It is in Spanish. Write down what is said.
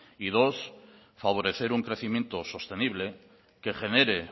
y dos favorecer un crecimiento sostenible que genere